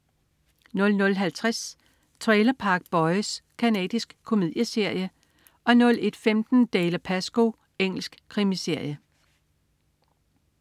00.50 Trailer Park Boys. Canadisk komedieserie 01.15 Dalziel & Pascoe. Engelsk krimiserie